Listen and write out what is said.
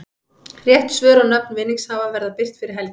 Rétt svör og nöfn vinningshafa verða birt fyrir helgi.